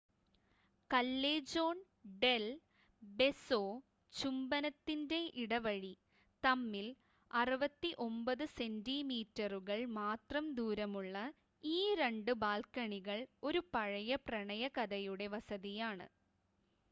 Callejón del Beso ചുംബനത്തിൻറ്റെ ഇടവഴി. തമ്മിൽ 69 സെൻറ്റിമീറ്ററുകൾ മാത്രം ദൂരമുള്ള ഈ 2 ബാൽക്കണികൾ ഒരു പഴയ പ്രണയകഥയുടെ വസതിയാണ്